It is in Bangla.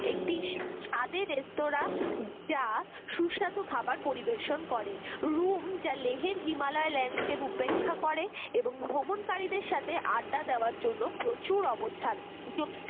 একটি স্বাদের রেস্তোরা যা সুস্বাদু খাবার পরিবেশন করে room যা লেহের হিমালয় landscape উপেক্ষা করে এবং ভ্রমণকারীদের সাথে আড্ডা দেওয়ার জন্য প্রচুর অবস্থান